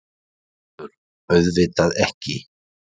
ÞORVALDUR: Auðvitað ekki!